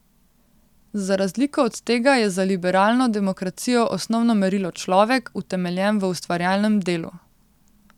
Za razliko od tega je za liberalno demokracijo osnovno merilo človek, utemeljen v ustvarjalnem delu.